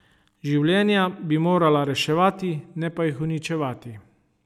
Življenja bi morala reševati, ne pa jih uničevati.